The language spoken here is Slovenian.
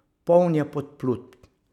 Poln je podplutb.